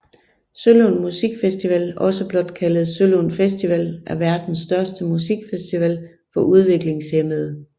Sølund Musik Festival også blot kaldet Sølund Festival er verdens største musikfestival for udviklingshæmmede